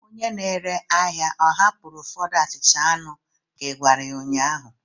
Onye na-ere ahịa ọ hapụrụ ụfọdụ achicha anu ka ị gwara ya ụnyahụ?